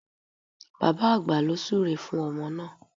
Bàbá àgbà ló súre fún ọmọ náà